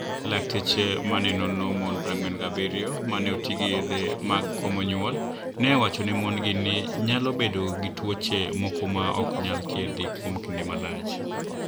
Laktache ma ni e onono moni 47 ma ni e oti gi yedhe mag komo niyuol, ni e owacho nii moni-go ni e niyalo bedo gi tuoche moko ma ni e ok niyal thiedhi kuom kinide malach.